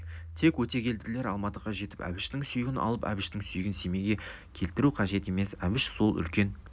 тек өтегелділер алматыға жетіп әбіштің сүйегін алып әбіштің сүйегін семейге келтіру қажет емес әбіш сол үлкен